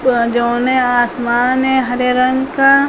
जो जोने आसमान है हरे रंग का।